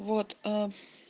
вот